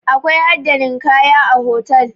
Akwai hada ninkaya a hotal